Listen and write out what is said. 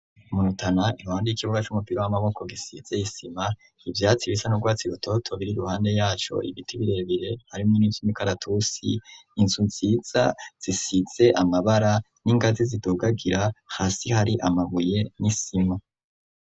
Mu Rutana iruhande y'ikibuga c'umupira w'amaboko gisize isima, ivyatsi bisa n'urwatsi rutoto biri ruhande yaco, ibiti birebire harimwo n'ivyimikaratusi , inzu nziza zisize amabara n'ingazi zidugagira hasi hari amabuye n'isima.